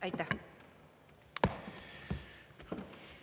Aitäh!